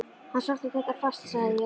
Hann sótti þetta fast sagði ég.